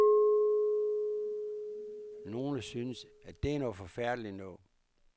Nogle synes, at det er noget forfærdeligt noget.